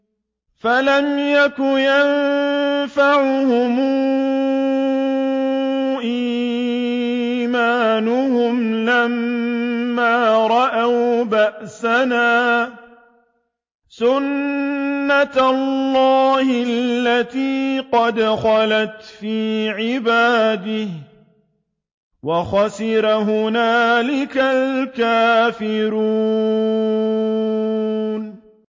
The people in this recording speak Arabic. فَلَمْ يَكُ يَنفَعُهُمْ إِيمَانُهُمْ لَمَّا رَأَوْا بَأْسَنَا ۖ سُنَّتَ اللَّهِ الَّتِي قَدْ خَلَتْ فِي عِبَادِهِ ۖ وَخَسِرَ هُنَالِكَ الْكَافِرُونَ